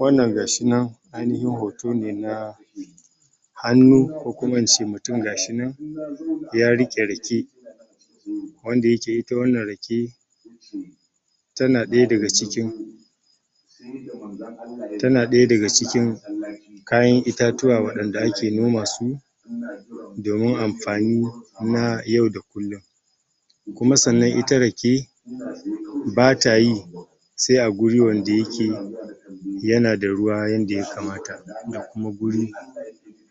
Wannan gashi nan, ainihin hoto ne na hannu, ko kuma in ce mutum gashi nan ya riƙe rake, wanda yake ita wannan rake, tana ɗaya daga cikin tana ɗaya daga cikin kayan itatuwa, waɗan da ake noma su domin amfani na yau da kullum. Kuma sannan ita rake, ba ta yi sai a guri wanda yake yana da ruwa yanda ya kamata, da kuma guri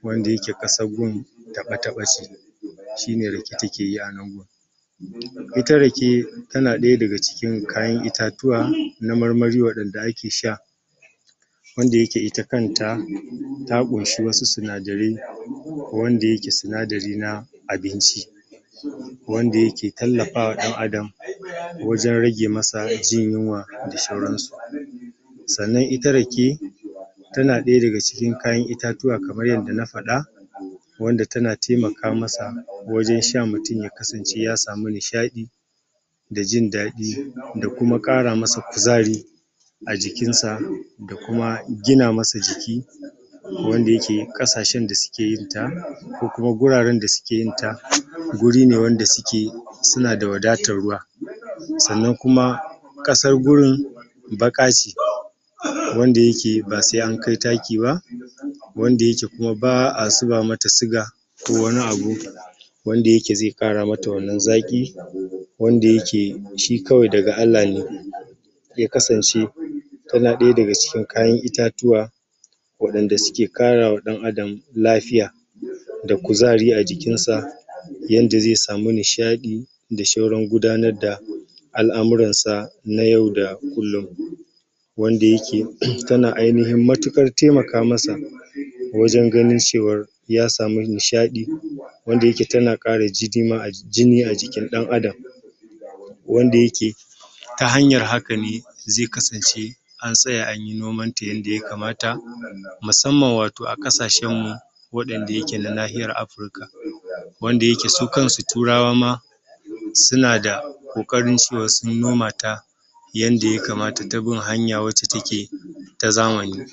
wanda yake ƙasag gun taɓo-taɓo ce, shi ne rake takeyi a nan gun. Ita rake, tana ɗaya daga cikin kayan itatuwa na marmari, waɗan da ake sha, wanda yake ita kanta, ta ƙunshi wasu sinadarai, wanda yake sinadari na abinci. Wanda yake tallafawa ɗan adam, wajen rage masa jin yunwa da shauran su. Sannan ita rake, tana ɗaya daga cikin kayan itatuwa kamar yadda na faɗa, wanda tana taimaka masa, wajen sha mutum ya kasance ya samu nishaɗi, da jin daɗi, da kuma ƙara masa kuzari a jikin sa, da kuma gina masa jiki, wanda yake ƙasashen da suke yin ta, ko kuma guraren da suke yin ta, guri ne wanda suke suna da wadatan ruwa. Sannan kuma ƙasar gurin baƙa ce, wanda yake ba sai an kai taki ba, wanda yake kuma ba a zuba mata suga, ko wani abu wanda yake zai ƙara mata wannan zaƙi, wanda yake shi kawai daga Allah ne ya kasance. Tana ɗaya daga cikin kayan itatuwa, waɗan da suke karawa ɗan adam lafiya, da kuzari a jikin sa, yanda zai samu nishaɗi, da shauran gudanar da al'amuran sa na yau da kullum. Wanda yake tana ainihin matuƙar taimaka masa, wajen ganin cewar ya samu nishaɗi, wanda yake tana ƙara jini a jikin ɗan adam. Wanda yake ta hanyar haka ne zai kasance an tsaya anyi noman ta yanda ya kamata, musamman wato a ƙasashen mu waɗan da yake na nahiyar Africa, wanda yake su kan su turawa ma suna da ƙoƙarin cewar sun noma ta, yadda ya kamata, ta bin hanya wacce take ta zamani.